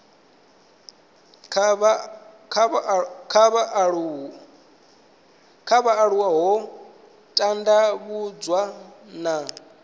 kha vhaaluwa ho tandavhudzwa na